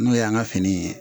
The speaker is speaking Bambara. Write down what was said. N'o y'an ka fini ye